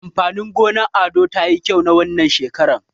Amfanin gonar Ado tayi kyau wannan shekaran.